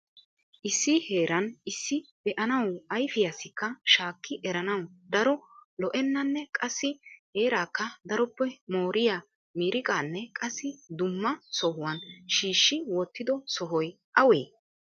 Issi heeran issi be'aanawuayfiyassikka shaakki eranaw daro lo"enanne qassi heerakka daroppe mooriyaa miiriqanne qassi dumma sohuwan shiishshi wottido sohoy awe?